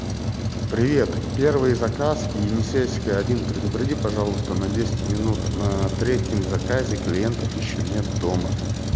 привет первый заказ енисейская один предупреди пожалуйста на десять минут на третьем заказе клиентов ещё нет дома